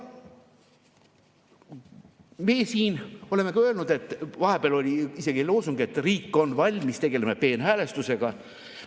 Me oleme ka öelnud, vahepeal oli isegi loosung, et riik on valmis, tegeleme peenhäälestusega.